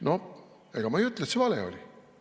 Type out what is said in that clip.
Noh, ega ma ei ütle, et see vale oli.